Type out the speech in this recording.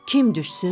Kim düşsün?